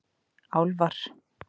Álfar